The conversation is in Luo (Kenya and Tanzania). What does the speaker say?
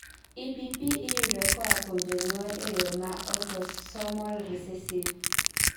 EPP iyudo koa kuom jonyuol e yoo ma autosomal recessive